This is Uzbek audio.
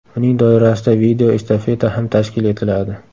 Uning doirasida video estafeta ham tashkil etiladi.